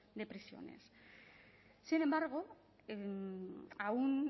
de prisiones sin embargo aún